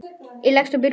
Ég leggst upp í rúmið.